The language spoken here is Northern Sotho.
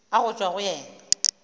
a go tšwa go yena